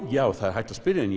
já það er hægt að spyrja en